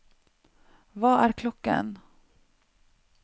hva er klokken